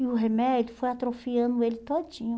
E o remédio foi atrofiando ele todinho.